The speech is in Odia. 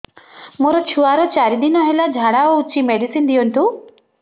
ମୋର ଛୁଆର ଚାରି ଦିନ ହେଲା ଝାଡା ହଉଚି ମେଡିସିନ ଦିଅନ୍ତୁ